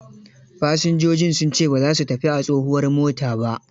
Fasinjojin sun ce ba za su tafi a tsohuwar mota ba.